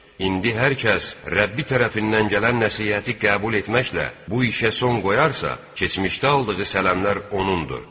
İndi hər kəs Rəbbi tərəfindən gələn nəsihəti qəbul etməklə bu işə son qoyarsa, keçmişdə aldığı sələmlər onundur.